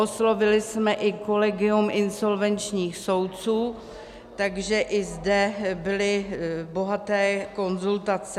Oslovili jsme i kolegium insolvenčních soudců, takže i zde byly bohaté konzultace.